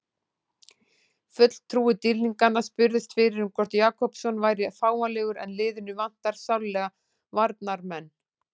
Fulltrúi dýrlinganna spurðist fyrir um hvort Jakobsson væri fáanlegur en liðinu vantar sárlega varnarmenn.